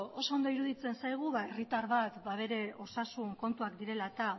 oso ondo iruditzen zaigu ba herri bat ba bere osasun kontuak direla eta